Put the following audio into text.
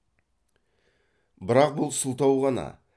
бірақ бұл сылтау ғана